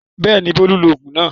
Bẹ́ẹ̀ni Bólú lògùn náà